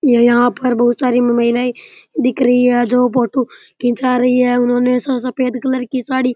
यहाँ पर बहुत सारे महिलाये दिखरी है जो फोटू जा रही है उन्होंने सफ़ेद कलर की साडी --